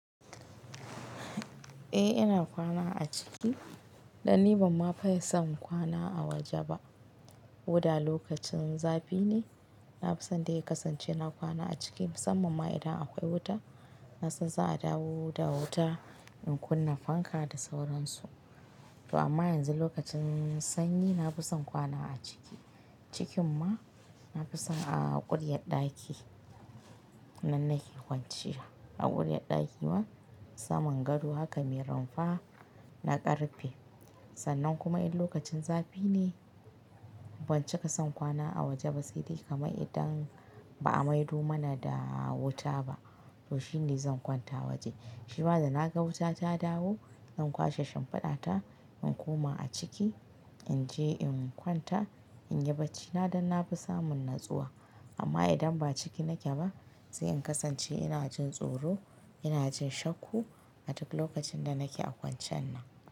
Eh ina kwana a ciki dan ni bama fa yi son kwana a waje ba. Ko da lokacin zafi ne, na fi son dai ya kasance na kwana a ciki musamman ma idan akwai wuta. Na san za'a dawo da wuta in kunna fanka da sauransu. To amma yanzu lokacin sanyi na fi son kwana a ciki. Cikin ma na fi son a ƙuryar ɗaki nan nake kwanciya. A ƙuryar ɗaki ma saman gado haka me rumfa na karfe. Sannan kuma in lokacin zafi ne ban cika son kwana a waje ba sai dai kamar idan ba a maido mana da wuta ba. To shine zan kwanta waje. Shi ma da na ga wuta ta dawo zan kwashe shimfuɗa ta in koma a ciki in je in kwanta in yi bacci na dan na fi samun natsuwa. Amma idan ba ciki nake ba sai in kasance ina jin tsoro ina jin shakku a duk lokacin da nake a kwanciyan nan.